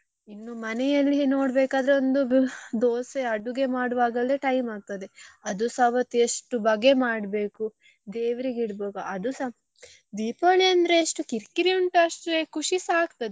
ಇನ್ನೂ ಮನೆಯಲ್ಲಿ ನೋಡ್ಬೇಕಾದ್ರೆ ಒಂದು ದೋಸೆ ಅಡುಗೆ ಮಾಡುವಾಗಲೇ time ಆಗ್ತದೆ ಅದುಸಾ ಅವತ್ತು ಎಷ್ಟು ಬಗೆ ಮಾಡ್ಬೇಕು ದೇವ್ರಿಗೆ ಇಡ್ಬೇಕು ಅದುಸ Deepavali ಅಂದ್ರೆ ಎಷ್ಟು ಕಿರಿಕಿರಿ ಉಂಟು ಅಷ್ಟೇ ಖುಷಿಸ ಆಗ್ತದೆ.